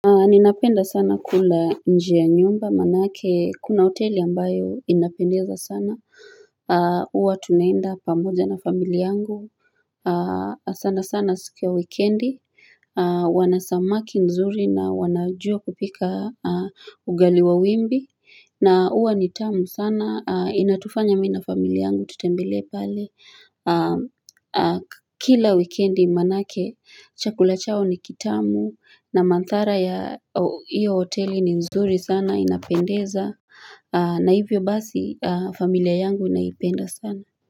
Ninapenda sana kula nje ya nyumba manake kuna hoteli ambayo inapendeza sana huwa tunaenda pamoja na familia yangu sana sana siku ya weekendi wana samaki nzuri na wanajua kupika ugali wa wimbi na huwa ni tamu sana inatufanya mimi na familia yangu tutembelee pale Kila weekendi manake chakula chao ni kitamu na manthara ya hiyo hoteli ni nzuri sana inapendeza na hivyo basi familia yangu inaipenda sana.